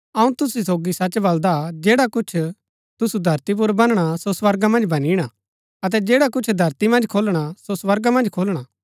अऊँ तुसु सोगी सच बलदा जैडा कुछ तुसु धरती पुर बनणा सो स्वर्गा मन्ज बनिणा अतै जैडा कुछ धरती मन्ज खोलणा सो स्वर्गा मन्ज खुलणा